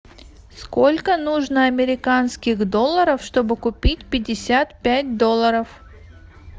сколько нужно американских долларов чтобы купить пятьдесят пять долларов